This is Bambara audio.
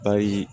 Bari